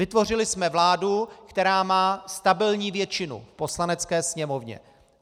Vytvořili jsme vládu, která má stabilní většinu v Poslanecké sněmovně.